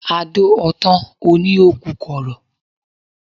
A dó ọ tán, o ni o ku kọrọ